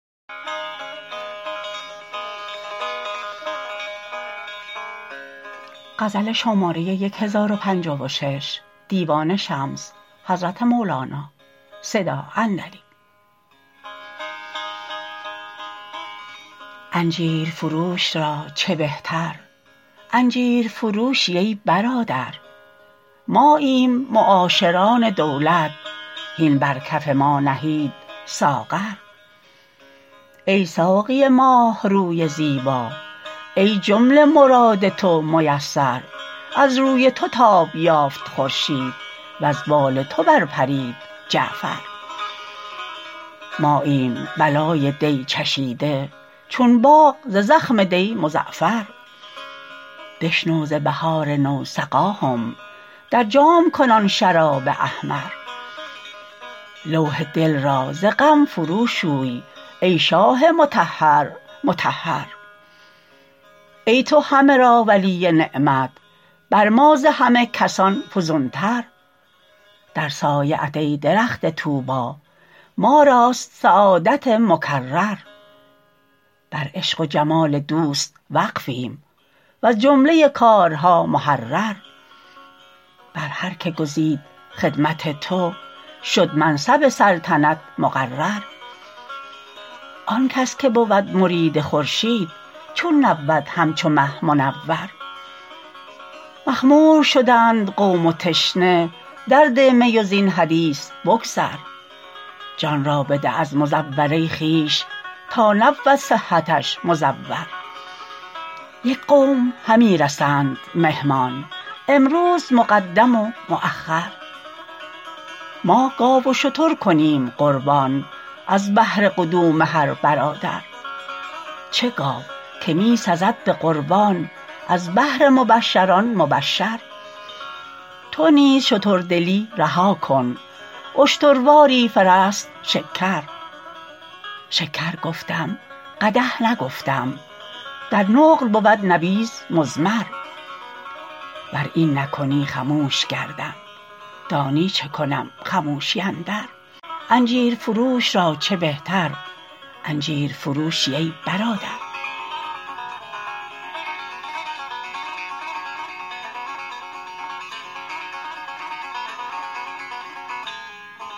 انجیرفروش را چه بهتر انجیرفروشی ای برادر ماییم معاشران دولت هین بر کف ما نهید ساغر ای ساقی ماه روی زیبا ای جمله مراد تو میسر از روی تو تاب یافت خورشید وز بال تو برپرید جعفر ماییم بلای دی چشیده چون باغ ز زخم دی مزعفر بشنو ز بهار نو سقاهم در جام کن آن شراب احمر لوح دل را ز غم فروشوی ای شاه مطهر مطهر ای تو همه را ولی نعمت بر ما ز همه کسان فزونتر در سایه ات ای درخت طوبی ما راست سعادت مکرر بر عشق و جمال دوست وقفیم وز جمله کارها محرر بر هر که گزید خدمت تو شد منصب سلطنت مقرر آن کس که بود مرید خورشید چون نبود همچو مه منور مخمور شدند قوم و تشنه درده می و زین حدیث بگذر جان را بده از مزوره خویش تا نبود صحتش مزور یک قوم همی رسند مهمان امروز مقدم و مأخر ما گاو و شتر کنیم قربان از بهر قدوم هر برادر چه گاو که می سزد به قربان از بهر مبشر آن مبشر تو نیز شتردلی رها کن اشترواری فرست شکر شکر گفتم قدح نگفتم در نقل بود نبیذ مضمر ور این نکنی خموش گردم دانی چه کنم خموشی اندر